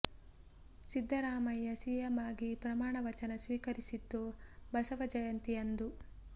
Siddaramaiah CM ಆಗಿ ಪ್ರಮಾಣ ವಚನ ಸ್ವೀಕರಿಸಿದ್ದು ಬಸವ ಜಯಂತಿ ಅಂದು